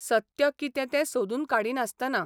सत्य कितें तें सोदून काडिनासतना.